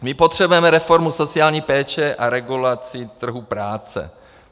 My potřebujeme reformu sociální péče a regulaci trhu práce.